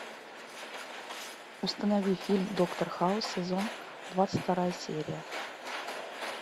установи фильм доктор хаус сезон двадцать вторая серия